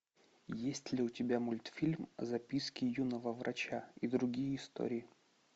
есть ли у тебя мультфильм записки юного врача и другие истории